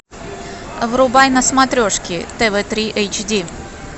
врубай на смотрешке тв три эйч ди